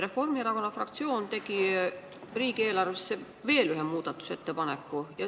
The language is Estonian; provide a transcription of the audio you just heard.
Reformierakonna fraktsioon tegi riigieelarve muutmiseks veel ühe ettepaneku.